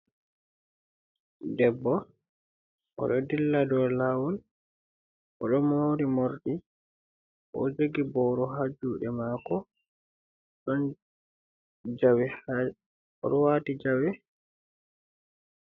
Debbo oɗo dilla dow lawol bo oɗo mori morɗi oɗo jogi boro ha juɗe mako oɗo wati jawe.